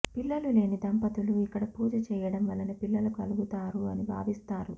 పిల్లలు లేని దంపతులు ఇక్కడ పూజ చెయ్యడం వలన పిల్లలు కలుగుతారు అని భావిస్తారు